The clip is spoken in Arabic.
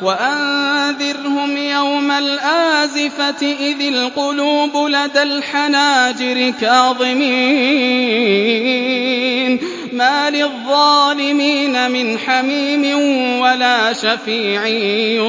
وَأَنذِرْهُمْ يَوْمَ الْآزِفَةِ إِذِ الْقُلُوبُ لَدَى الْحَنَاجِرِ كَاظِمِينَ ۚ مَا لِلظَّالِمِينَ مِنْ حَمِيمٍ وَلَا شَفِيعٍ